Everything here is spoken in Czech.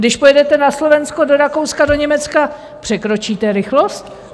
Když pojedete na Slovensko, do Rakouska, do Německa, překročíte rychlost?